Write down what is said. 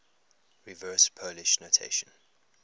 reverse polish notation